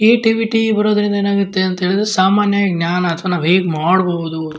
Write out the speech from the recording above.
creativity ಬರೋದ್ರಿಂದ ಏನಾಗತ್ತೆ ಅಂದ್ರೆ ಸಾಮಾನ್ಯ ಜ್ಯಾನ ನಾವು ಹೇಗ್ ಮಾಡಬಹುದು--